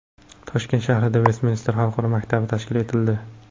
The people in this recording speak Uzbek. Toshkent shahrida Vestminster xalqaro maktabi tashkil etildi.